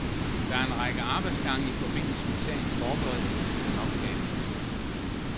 Der er en række arbejdsgange i forbindelse med sagens forberedelse, der nok kan ændres.